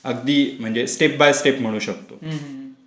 अगदी म्हणजे step by step म्हणू शकतो.